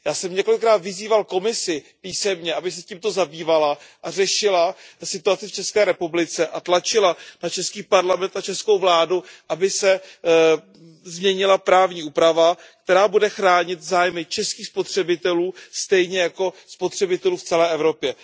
Já jsem několikrát vyzýval Komisi písemně, aby se tímto zabývala a řešila situaci v České republice a tlačila na Parlament České republiky, na českou vládu, aby se změnila právní úprava, která bude chránit zájmy českých spotřebitelů stejně jako spotřebitelů v celé Evropě.